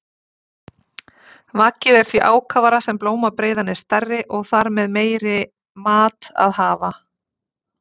Vaggið er því ákafara sem blómabreiðan er stærri og þar með meiri mat að hafa.